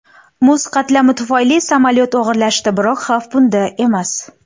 Muz qatlami tufayli samolyot og‘irlashadi, biroq xavf bunda emas.